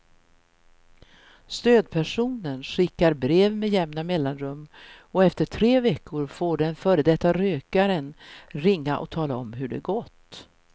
Stödpersonen skickar brev med jämna mellanrum och efter tre veckor får den före detta rökaren ringa och tala om hur det gått.